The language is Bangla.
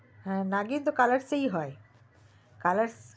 হু নাগিন তো colors এ হয় colors